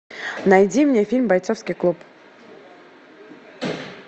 найди мне фильм бойцовский клуб